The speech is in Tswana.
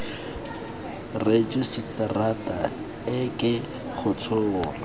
rejisetara e ke go tshola